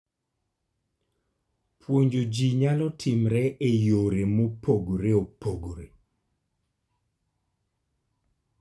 Puonjo ji nyalo timore e yore mopogore opogore.